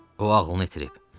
O ağlını itirib.